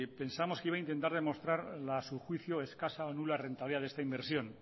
pensábamos que iba a intentar demostrar a su juicio la escasa o nula rentabilidad de esta inversión